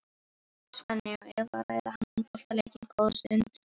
Svenni og Eva ræða handboltaleikinn góða stund.